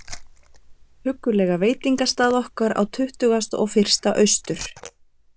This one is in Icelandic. huggulega veitingastað okkar á Tuttugasta og fyrsta Austur